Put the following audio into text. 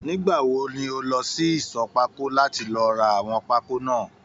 Nígbàwo ni o lọ sí ìṣọ̀ pákó láti lọ rà àwọn pákó náà?